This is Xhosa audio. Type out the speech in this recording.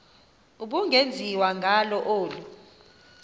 ubungenziwa ngalo olu